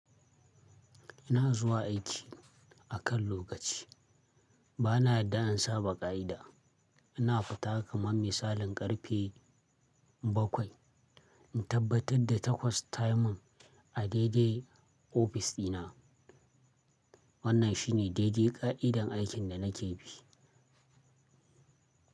Ina zuwa aiki akan lokaci. Bana yarda in saɓa ƙa'ida. Ina fita kamar misalin ƙarfe bakwai. In tabbatar da takwas tayi min a dai-dai ofis dina. Wannan shine daidai ƙa'idar aikin da nake bi.